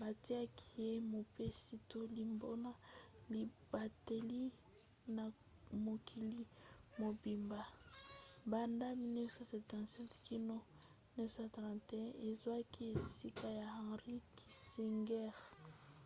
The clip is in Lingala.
batiaki ye mopesi-toli mpona libateli ya mokili mobimba nsa banda 1977 kino 1981 azwaki esika ya henry kissinger